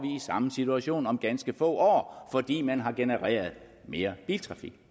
i samme situation om ganske få år fordi man har genereret mere biltrafik